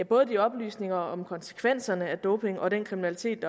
både de oplysninger om konsekvenserne af doping og den kriminalitet